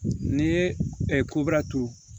N'i ye kobara turu